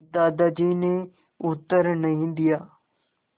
दादाजी ने उत्तर नहीं दिया